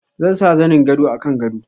Zan sa zanin gado a kan gado.